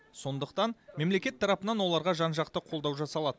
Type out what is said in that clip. сондықтан мемлекет тарапынан оларға жан жақты қолдау жасалады